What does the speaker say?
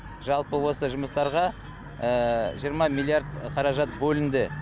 жалпы осы жұмыстарға жиырма миллиард қаражат бөлінді